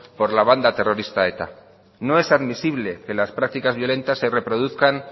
por la banda terrorista eta no es admisible que las prácticas violentas se reproduzcan